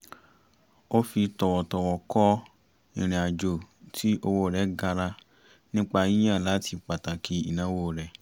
ó fi tọ̀wọ̀tọ̀wọ̀ kọ ìrìnàjò tí owó rẹ̀ gara nípa yíyàn láti pàtàkì ìnáwó rẹ̀